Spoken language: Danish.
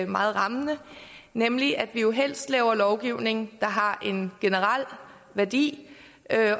meget rammende nemlig at vi jo helst laver lovgivning der har en generel værdi